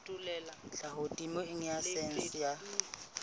tlhaho temeng ya saense ya